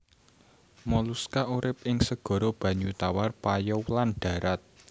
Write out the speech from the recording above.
Moluska urip ing segara banyu tawar payau lan dharat